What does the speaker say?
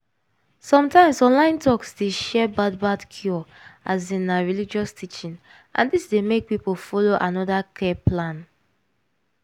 sometimes online talks dey share bad bad cure as in na religious teaching and dis dey make people follow another care plan.